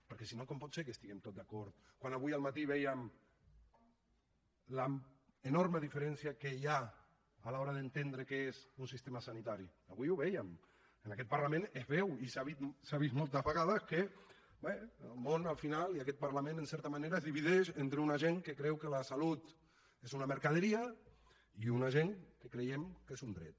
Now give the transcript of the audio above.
perquè si no com pot ser que estiguem tots d’acord quan avui al matí vèiem l’enorme diferència que hi ha a l’hora d’entendre què és un sistema sanitari avui ho vèiem en aquest parlament es veu i s’ha vist moltes vegades que bé el món al final i aquest parlament en certa manera es divideix entre una gent que creu que la salut és una mercaderia i una gent que creiem que és un dret